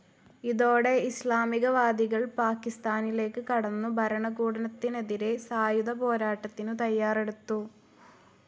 ഇതോടെ ഇസ്ലാമികവാദികൾ പാകിസ്ഥാനിലേക്ക് കടന്നു ഭരണകൂടത്തിനെതിരെ സായുധപോരാട്ടത്തിനു തയ്യാറെടുത്തു.